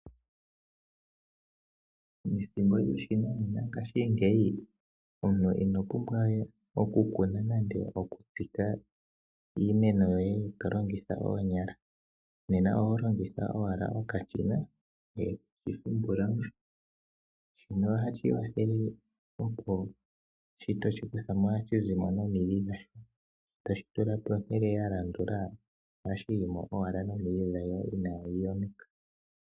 Methimbo lyoshinanena ngaashingeyi, omuntu ino pumbwa we okukuna nenge okutsika iimeno yoye to longitha oonyala, oho longitha owala okashina ngoye toshi humpula mo. Shino ohashi kwathele opo shi toshi kutha mo ohashi zi mo nomidhi dhasho, e toshi tula pehala lya landula. Ohashi yi mo owala nomidhi dhasho inaadhi yonuka.